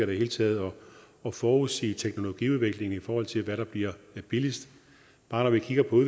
det hele taget med at forudsige teknologiudviklingen i forhold til hvad der bliver billigst bare når vi kigger på